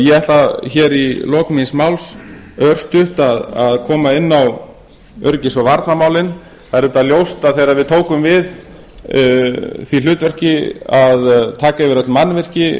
ég ætla hér í lok míns máls örstutt að koma inn á öryggis og varnarmálin það er auðvitað ljóst að þegar við tókum við því hlutverki að taka yfir öll mannvirki